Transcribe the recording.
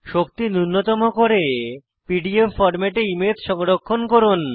শক্তি নুন্যতম করে পিডিএফ ফরম্যাটে ইমেজ সংরক্ষণ করুন